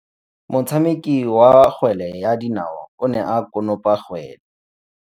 Motshameki wa kgwele ya dinaô o ne a konopa kgwele.